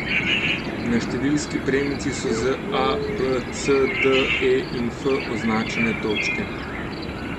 Na številski premici so z A, B, C, D, E, in F označene točke.